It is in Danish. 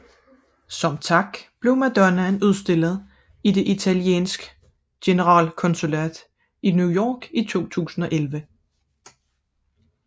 Som tak blev Madonnaen udstillet i det italiensk generalkonsulat i New York i 2011